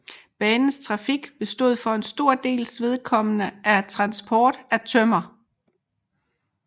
Banens trafik bestod for en stor dels vedkommende af transport af tømmer